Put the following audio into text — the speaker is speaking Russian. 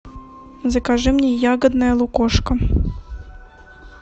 закажи мне ягодное лукошко